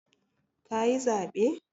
Ka yi zaɓe?